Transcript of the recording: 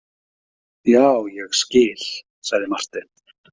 Já, ég skil, sagði Marteinn.